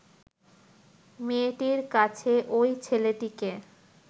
মেয়েটির কাছে ঐ ছেলেটিকে